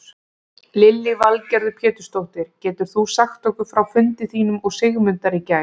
Lillý Valgerður Pétursdóttir: Getur þú sagt okkur frá fundi þínum og Sigmundar í gær?